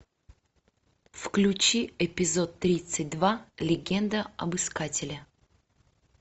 включи эпизод тридцать два легенда об искателе